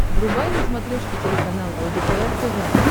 врубай на смотрешке телеканал лдпр тв